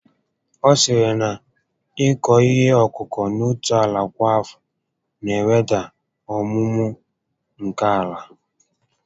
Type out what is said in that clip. Ọ sịrị na ịkụ ihe ọkụkụ n'otu ala kwa afọ na eweda ọmụmụ nke ala